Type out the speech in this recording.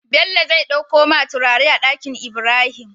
Bello zai ɗakko ma turare a Ɗakinibrahim